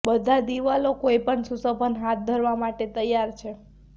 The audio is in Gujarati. બધા દિવાલો કોઈપણ સુશોભન હાથ ધરવા માટે તૈયાર છે